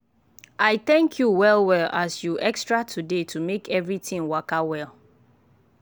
i thank you well well as you extra today to make everything waka well.